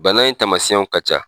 Bana in tamasiyɛnw ka ca